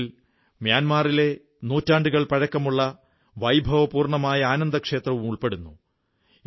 ഇതിൽ മ്യാന്മാറിലെ നൂറ്റാണ്ടുകൾ പഴക്കമുള്ള വൈഭവപൂർണ്ണമായ ആനന്ദ ക്ഷേത്രവും ഉൾപ്പെടുന്നു